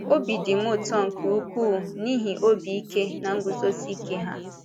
Obi dị m ụtọ nke ukwuu n’ihi obi ike na nguzosi ike ha.